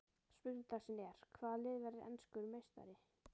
Spurning dagsins er: Hvaða lið verður enskur meistari?